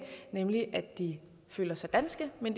nemlig at de føler sig danske men